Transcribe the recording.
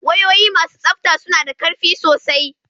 Wayoyi masu tsabta suna da ƙarfi sosai.